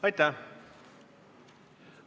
Aitäh!